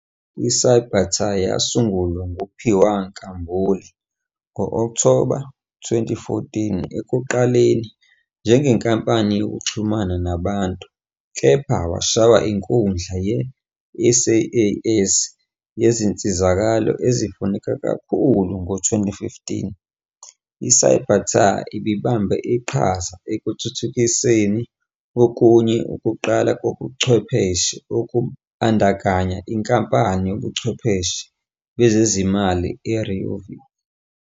ICybatar yasungulwa nguPhiwa Nkambule ngo-Okthoba 2014 ekuqaleni njengenkampani yokuxhumana nabantu kepha washaya inkundla ye- SaaS yezinsizakalo ezifuneka kakhulu ngo-2015. ICybatar ibibambe iqhaza ekuthuthukiseni okunye ukuqala kobuchwepheshe okubandakanya inkampani yobuchwepheshe bezezimali iRiovic.